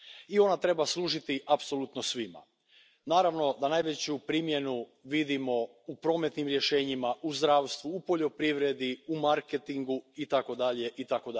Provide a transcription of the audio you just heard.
I ona treba služiti apsolutno svima. Naravno da najveću primjenu vidimo u prometnim rješenjima, u zdravstvu, u poljoprivredi, u marketingu, itd.